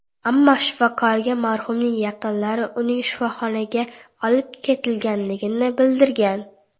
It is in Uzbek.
Ammo shifokorga marhumning yaqinlari uning shifoxonaga olib ketilganligini bildirgan.